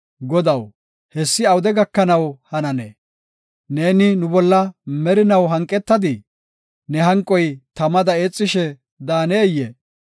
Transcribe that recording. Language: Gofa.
Godaw, hessi awude gakanaw hananee? Neeni nu bolla merinaw hanqetadii? Ne hanqoy tamada eexishe daaneyee?